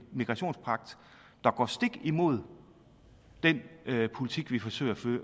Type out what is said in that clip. migrationspagt der går stik imod den politik vi forsøger